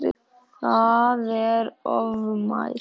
Það er ofmælt.